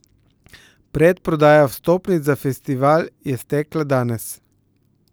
Predprodaja vstopnic za festival je stekla danes.